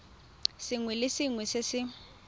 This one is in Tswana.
sengwe le sengwe se se